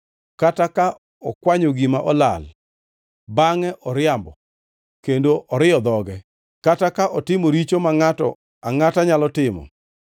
kata ka okwanyo gima olal bangʼe oriambo kendo oriyo dhoge, kata ka otimo richo ma ngʼato angʼata nyalo timo;